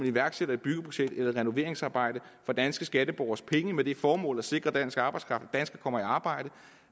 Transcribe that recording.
iværksætter et byggeprojekt eller et renoveringsarbejde for danske skatteborgeres penge med det formål at sikre at dansk arbejdskraft danskere kommer i arbejde